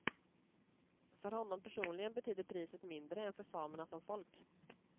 För honom personligen betydde priset mindre än för samerna som folk.